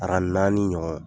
Aran naani ɲɔgɔn